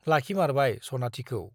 लाखिमारबाय सनाथिखौ ।